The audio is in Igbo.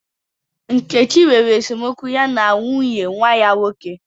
Nkechi nwere esemokwu ya na nwunye nwa ya nwoke.